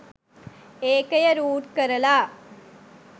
ඒකය root කරලා